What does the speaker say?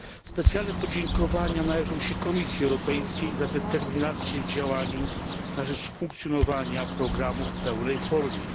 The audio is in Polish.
Specjalne podziękowania należą się Komisji Europejskiej za determinację w działaniu na rzecz funkcjonowania programu w pełnej formie.